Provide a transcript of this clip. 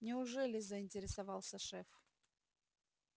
неужели заинтересовался шеф